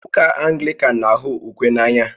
Ụka Anglican na-ahụ ukwe n'anya